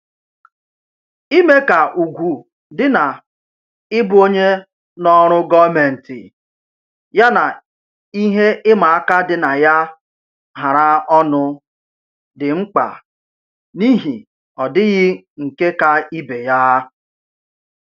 Ime ka ugwu dị na-ịbụ onye n'ọrụ gọọmentị yana ihe ịma aka dị na ya hara ọnụ dị mkpa n'ihi ọdịghị nke ka ibe ya